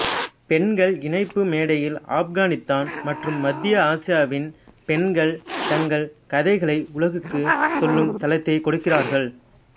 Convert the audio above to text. பெண்கள் இணைப்பு மேடையில் ஆப்கானித்தான் மற்றும் மத்திய ஆசியாவின் பெண்கள் தங்கள் கதைகளை உலகுக்கு சொல்லும் தளத்தை கொடுக்கிறார்கள்